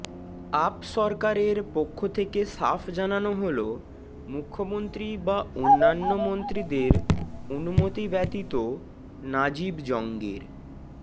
up সরকারের পক্ষ থেকে সাফ জানালো হল মুখ্যমন্ত্রী বা অনান্য মন্ত্রীদের অনুমতি ব্যতীত নাজিব জঙ্গের